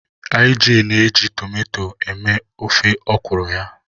Ij na-eji tomato eme ofe ọkwụrụ ya.